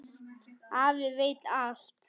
Afi veit allt.